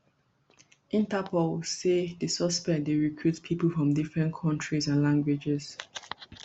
interpol say di suspects dey recruit pipo from different kontris and languages